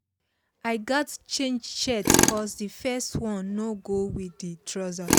i gats change shirt cos the first one no go with the trouser.